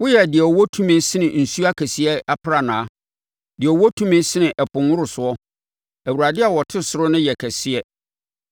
Woyɛ deɛ ɔwɔ tumi sene nsuo akɛseɛ aprannaa, deɛ ɔwɔ tumi sene ɛpo nworosoɔ. Awurade a ɔte ɔsoro no yɛ kɛseɛ.